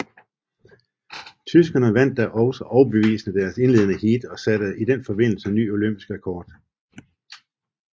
Tyskerne vandt da også overbevisende deres indledende heat og satte i den forbindelse ny olympisk rekord